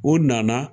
U nana